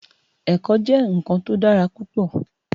Èkò jè nkán tó dàrá púpò